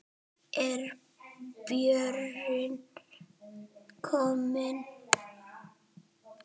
Er Björn kominn?